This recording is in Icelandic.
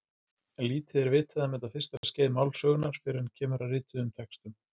Lítið er vitað um þetta fyrsta skeið málsögunnar fyrr en kemur að rituðum textum.